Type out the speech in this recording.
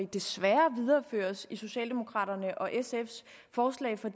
desværre videreføres i socialdemokraterne og sfs forslag for